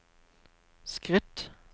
skritt